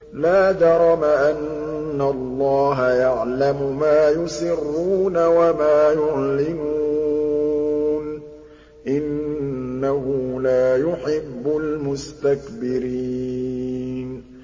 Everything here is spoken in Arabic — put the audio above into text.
لَا جَرَمَ أَنَّ اللَّهَ يَعْلَمُ مَا يُسِرُّونَ وَمَا يُعْلِنُونَ ۚ إِنَّهُ لَا يُحِبُّ الْمُسْتَكْبِرِينَ